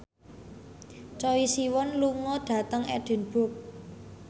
Choi Siwon lunga dhateng Edinburgh